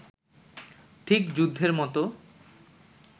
ঠিক যুদ্ধের মতো